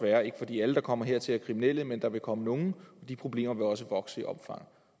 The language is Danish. er ikke fordi at alle der kommer hertil er kriminelle men der vil komme nogle og de problemer vil også vokse i omfang